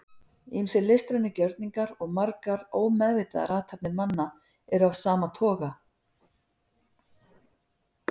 ýmsir listrænir gjörningar og margar ómeðvitaðar athafnir manna eru af sama toga